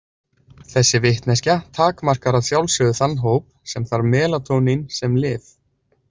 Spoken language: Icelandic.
Þessi vitneskja takmarkar að sjálfsögðu þann hóp sem þarf melatónín sem lyf.